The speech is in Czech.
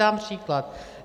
Dám příklad.